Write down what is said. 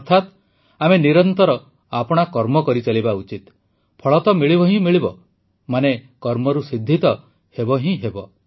ଅର୍ଥାତ ଆମେ ନିରନ୍ତର ଆପଣା କର୍ମ କରିଚାଲିବା ଉଚିତ ଫଳ ତ ମିଳିବ ହିଁ ମିଳିବ ମାନେ କର୍ମରୁ ସିଦ୍ଧି ତ ହେବ ହିଁ ହେବ